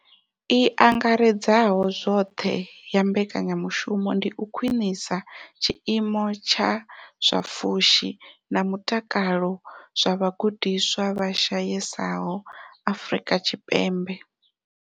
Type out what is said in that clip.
I angaredzaho zwoṱhe ya mbekanyamushumo ndi u khwinisa tshiimo tsha zwa pfushi na mutakalo zwa vhagudiswa vha shayesaho Afrika Tshipembe.